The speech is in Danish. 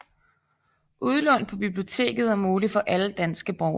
Udlån på biblioteket er muligt for alle danske borgere